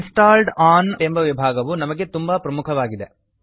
installed one installed on ಎಂಬ ವಿಭಾಗವು ನಮಗೆ ತುಂಬಾ ಪ್ರಮುಖವಾಗಿದೆ